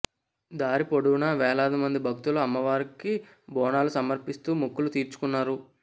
దారి పొడవునా వేలాది మంది భక్తులు అమ్మవారికి బోనాలు సమర్పిస్తూ మొక్కులు తీర్చుకున్నారు